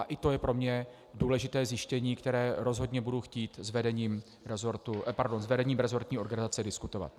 A i to je pro mě důležité zjištění, které rozhodně budu chtít s vedením resortní organizace diskutovat.